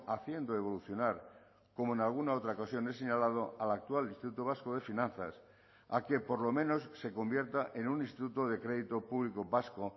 haciendo evolucionar como en alguna otra ocasión he señalado al actual instituto vasco de finanzas a que por lo menos se convierta en un instituto de crédito público vasco